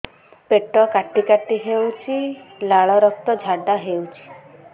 ପେଟ କାଟି କାଟି ହେଉଛି ଲାଳ ରକ୍ତ ଝାଡା ହେଉଛି